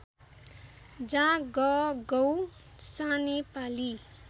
जा गगौ सानेपाली